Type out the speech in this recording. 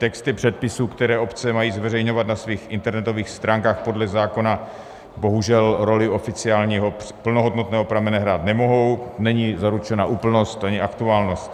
Texty předpisů, které obce mají zveřejňovat na svých internetových stránkách podle zákona, bohužel roli oficiálního plnohodnotného pramene hrát nemohou, není zaručena úplnost ani aktuálnost.